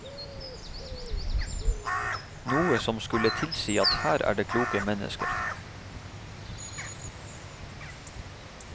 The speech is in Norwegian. Noe som skulle tilsi at her er det kloke mennesker.